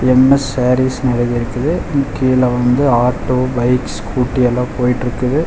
MS சேரிஸ்னு எழுதி இருக்குது கீழ வந்து ஆட்டோ பைக்ஸ் ஸ்கூட்டி எல்லா போய்ட்ருக்குது.